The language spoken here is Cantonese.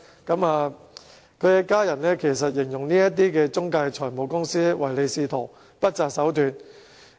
他的家人形容這些中介財務公司唯利是圖，不擇手段。